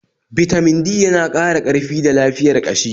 Bitamin D yana ƙara karfi da lafiyar ƙashi